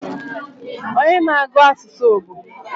Onye na-agu asusu bu?